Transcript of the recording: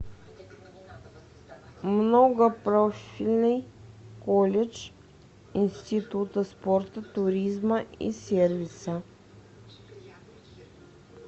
многопрофильный колледж института спорта туризма и сервиса